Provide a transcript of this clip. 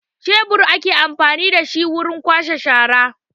Shebur ake amfani da wurin kwashe shara